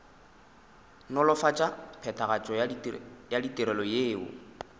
nolofatša phethagatšo ya ditirelo yeo